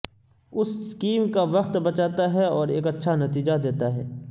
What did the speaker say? اس scheme کا وقت بچاتا ہے اور ایک اچھا نتیجہ دیتا ہے